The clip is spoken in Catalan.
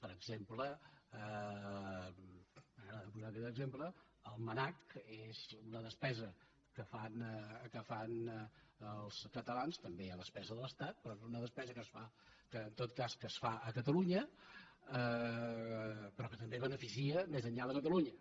per exem·ple m’agrada posar aquest exemple el mnac és una despesa que fan els catalans també hi ha despesa de l’estat però és una despesa que en tot cas es fa a catalunya però que també beneficia més enllà de catalunya